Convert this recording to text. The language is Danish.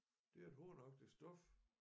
Det er et hornagtigt stof